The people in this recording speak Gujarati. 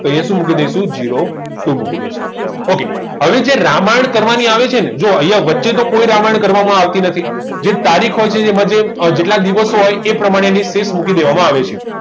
તો અહિયાં સુ મૂકી ડાઈસુ zero two દઈશ ok હવે જે રામાયણ કરવાની આવે છે ને જો વચ્ચે કોઈ રામાયણ કરવામાં આવતી નથી જે તારીખો છે જેમાં જેટલા દિવસ હોય એ પ્રમાણે એની શેષ મૂકી દેવામાં આવે છે